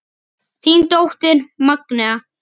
Þín dóttir Magnea.